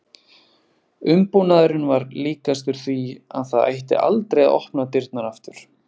Umbúnaðurinn var líkastur því að það ætti aldrei að opna dyrnar aftur.